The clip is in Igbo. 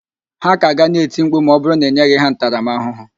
Ha ka ga na-eti mkpu ma ọ bụrụ na ị nyeghị ha ntaramaahụhụ